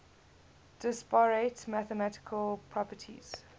disparate mathematical properties